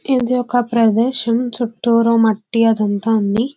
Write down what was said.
ఇది ఒక ప్రదేశం. చుట్టూరా మట్టి అది అంత ఉంది.